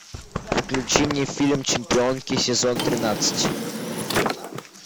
включи мне фильм чемпионки сезон тринадцать